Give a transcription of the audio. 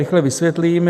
Rychle vysvětlím.